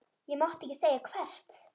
Ég mátti ekki segja hvert.